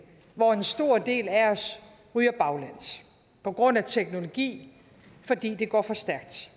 hvor en stor del af os ryger baglæns på grund af teknologi fordi det går for stærkt